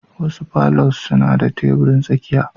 Wasu palours suna da tebirin tsakiya